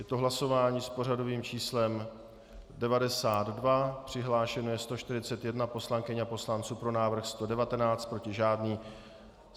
Je to hlasování s pořadovým číslem 92, přihlášeno je 141 poslankyň a poslanců, pro návrh 119, proti žádný.